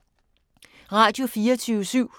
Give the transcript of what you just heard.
Radio24syv